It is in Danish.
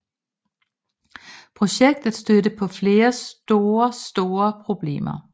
Projektet stødte på flere store store problemer